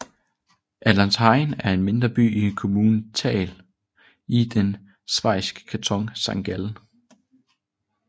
Altenrhein er en mindre by i kommunen Thal i den schweiziske kanton Sankt Gallen